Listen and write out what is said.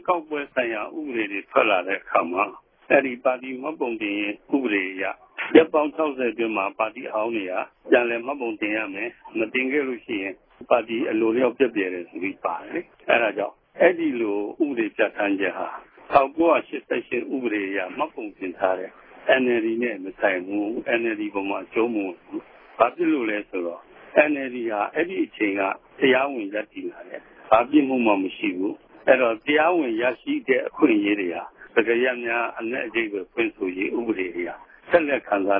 ကောက်ပွဲဆိုင်ရာ ဥပဒေတွေ ထွက်လာတဲ့အခါမှာ အဲဒီ ပါတီမှတ်ပုံတင် ဥပဒေအရ ရက်ပေါင်း ၆၀ အတွင်းမှာ ပါတီအဟောင်းတွေက ပြန်လည် မှတ်ပုံတင်ရမယ်၊ မတင်ခဲ့လို့ရှိရင် ပါတီ အလိုအလျောက် ပျက်ပြယ်တယ်ဆိုပြီး ပါတယ်လေ။ အဲဒါကြောင့် အဲဒီလို ဥပဒေပြဌာန်းချက်ဟာ ၁၉၈၈ ဥပဒေအရ မှတ်ပုံတင်ထားတဲ့ NLD နဲ့ မဆိုင်ဘူး၊ NLD အပေါ်မှာ အကျုံးမဝင်ဘူး။ ဘာဖြစ်လို့လဲဆိုတော့ NLD ဟာ အဲဒီအချိန်က တရားဝင် ရပ်တည်လာတယ်၊ ဘာပြစ်မှုမှ မရှိဘူး။ အဲဒီတော့ တရားဝင် ရရှိတဲ့ အခွင့်အရေးတွေဟာ စကားရပ်များ အနက်အဓိပ္ပါယ် ဖွင့်ဆိုရေး ဥပဒေအရ ဆက်လက်ခံစာ